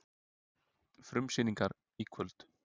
Frumsýningar í kvöld